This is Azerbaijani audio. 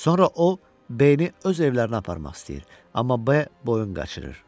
Sonra o B-ni öz evlərinə aparmaq istəyir, amma B boyun qaçırır.